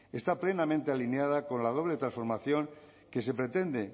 está plenamente alineada con la doble transformación que se pretende